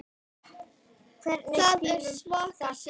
Það var ekkert, segir mamma.